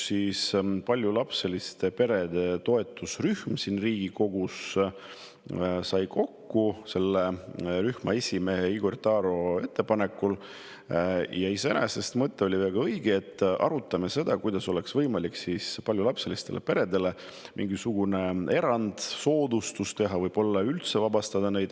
Paljulapseliste perede toetusrühm siin Riigikogus tuli selle rühma esimehe Igor Taro ettepanekul kokku – iseenesest oli mõte väga õige –, et arutada seda, kuidas oleks võimalik paljulapselistele peredele mingisugune erand või soodustus teha, võib-olla nad üldse automaksust vabastada.